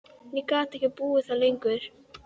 Ég gat ekki búið þar lengur.